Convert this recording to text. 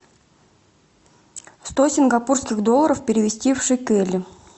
сто сингапурских долларов перевести в шекели